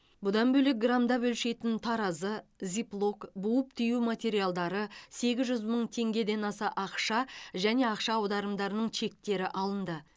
бұдан бөлек грамдап өлшейтін таразы зиплок буып түю материалдары сегіз жүз мың теңгеден аса ақша және ақша аударымдарының чектері алынды